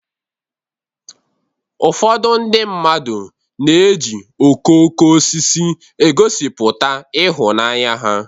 Ụfọdụ ndị mmadu na-eji okooko osisi egosipụta ịhụnanya ha.